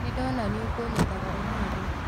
Nĩndona nĩũkũnyethaga ũmũthĩ